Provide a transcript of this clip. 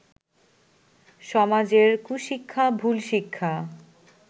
সমাজের কুশিক্ষা, ভুল শিক্ষা